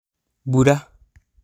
mbura!